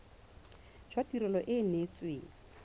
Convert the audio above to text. jwa tirelo e e neetsweng